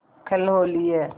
कल होली है